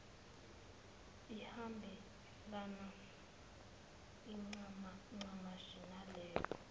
ihambelane ncamashi naleyo